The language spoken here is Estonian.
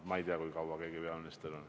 No ma ei tea, kui kaua keegi on peaminister.